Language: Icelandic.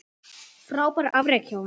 Frábært afrek hjá henni.